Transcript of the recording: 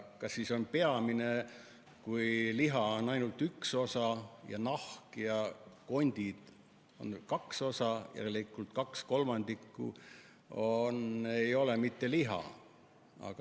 Kas siis õige sõna on "peamiselt", kui liha on ainult üks osa toodangust, aga nahk ja kondid on kaks osa, järelikult kaks kolmandikku ei ole mitte liha?